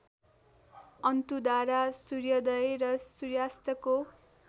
अन्तुडाँडा सूर्योदय र सूर्यास्तको